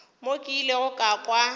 mo ke ilego ka kwa